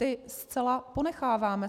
Ty zcela ponecháváme.